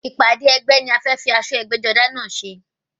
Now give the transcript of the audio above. Ìpàdé ẹgbẹ́ ni a fẹ́ fi aṣọ ẹgbẹ́-jọdá náà ṣe.